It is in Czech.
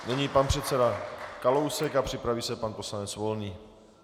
Nyní pan předseda Kalousek a připraví se pan poslanec Volný.